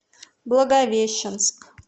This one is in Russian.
благовещенск